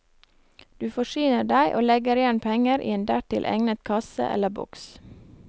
Du forsyner deg og legger igjen penger i en dertil egnet kasse eller boks.